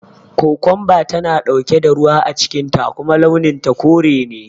Kukunba tana ɗauke da ruwa a cikin ta kuma launin ta kore ne